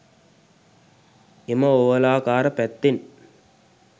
එම ඕවලාකාර පැත්තෙන්